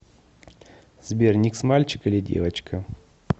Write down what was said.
сбер никс мальчик или девочка